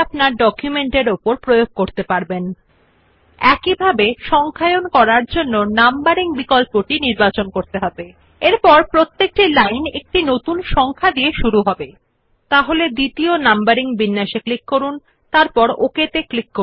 আপনি bullets and numbering বিকল্পটি click করে ডায়লগ বক্স প্রদর্শিত হবে যা পরে দেখুন উপলব্ধ বিভিন্ন ট্যাবের অধীন বিভিন্ন স্টাইল যা আপনি আপনার ডকুমেন্টের উপর প্রয়োগ করতে পারবেন আপনি The dialog box which you see after clicking on bullets and numbering option provides you various styles under different tabs which you can apply on your document